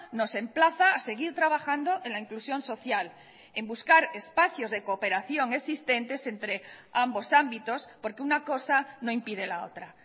nos emplaza a seguir trabajando en la inclusión social en buscar espacios de cooperación existentes entre ambos ámbitos porque una cosa no impide la otra